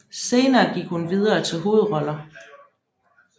Senere gik hun videre til hovedroller